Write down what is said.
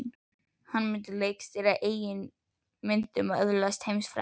Hann myndi leikstýra eigin myndum og öðlast heimsfrægð.